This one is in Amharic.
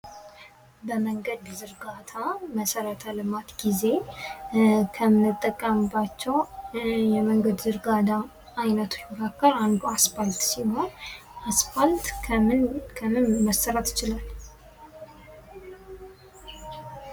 በመንገድ ዝርጋታ መሰረተ ልማት ጊዜ ከምንጠቀምባቸው የመንገድ ዝርጋታ ዓይነቶች መካከል አንዱ አስፋልት ሲሆን ፤ አስፋልት ከምንም ከምንም መሥራት ይችላል?